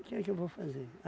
O que é que eu vou fazer?